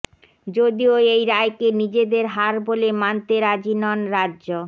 যদিও এই রায়কে নিজেদের হার বলে মানতে রাজি নন রাজ্য